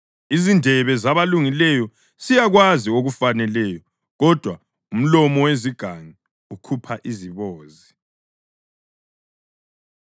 Izindebe zabalungileyo ziyakwazi okufaneleyo, kodwa umlomo wezigangi ukhupha izibozi.